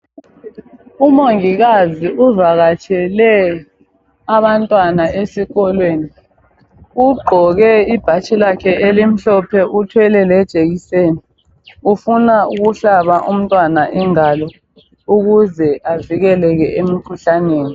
umongikazi uvakatshele abantwana esikolweni ugqoke ibhatshi lakhe elimhlophe uthwele le jekiseni ufuna ukuhlaba umntwana ingalo ukuze avikeleke emikhuhlaneni